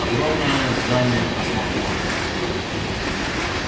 огромное здание космопорта